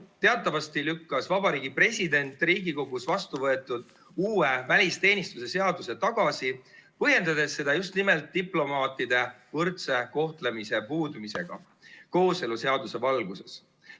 Teatavasti lükkas Vabariigi President Riigikogus vastu võetud uue välisteenistuse seaduse tagasi, põhjendades seda just nimelt diplomaatide võrdse kohtlemise puudumisega kooseluseaduse valguses.